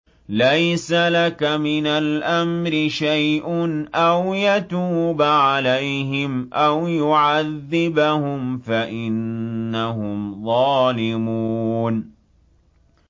لَيْسَ لَكَ مِنَ الْأَمْرِ شَيْءٌ أَوْ يَتُوبَ عَلَيْهِمْ أَوْ يُعَذِّبَهُمْ فَإِنَّهُمْ ظَالِمُونَ